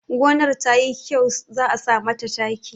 Gonar ta yi kyau za a sa mata taki